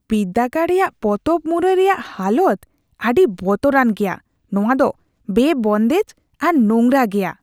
ᱵᱤᱨᱫᱟᱹᱜᱟᱲ ᱨᱮᱭᱟᱜ ᱯᱚᱛᱚᱵ ᱢᱩᱨᱟᱹᱭ ᱨᱮᱭᱟᱜ ᱦᱟᱞᱚᱛ ᱟᱹᱰᱤ ᱵᱚᱛᱚᱨᱟᱱ ᱜᱮᱭᱟ ; ᱱᱚᱶᱟ ᱫᱚ ᱵᱮᱼᱵᱚᱱᱫᱮᱡ ᱟᱨ ᱱᱚᱝᱨᱟ ᱜᱮᱭᱟ ᱾